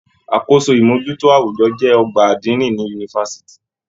Àkóso imojuto awujọ jẹ ọgbà adini ní yunifásítì.